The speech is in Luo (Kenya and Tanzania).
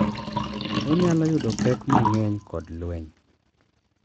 Onyalo yudo pek mang’eny kod lweny,